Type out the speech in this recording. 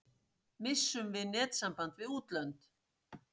Missum við netsamband við útlönd?